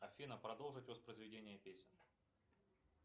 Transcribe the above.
афина продолжить воспроизведение песни